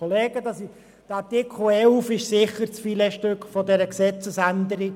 Der Artikel 11 ist sicher das Filetstück dieser Gesetzesänderung.